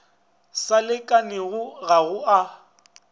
sa lekanelago ga go a